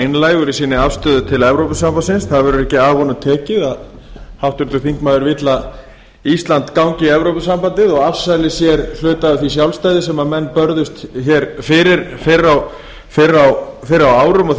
einlægur í sinni afstöðu til evrópusambandsins það verður ekki af honum tekið að háttvirtur þingmaður vill að ísland gangi í evrópusambandið og afsali sér hluta af því sjálfstæði sem menn börðust hér fyrir fyrr á árum og því